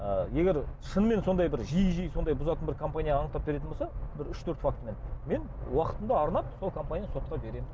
ы егер шынымен сондай бір жиі жиі сондай бұзатын бір компания анықтап беретін болса бір үш төрт фактімен мен уақытымды арнап сол компанияны сотқа беремін